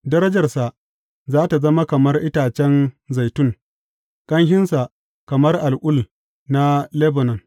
Darajarsa za tă zama kamar itacen zaitun, ƙanshinsa kamar al’ul na Lebanon.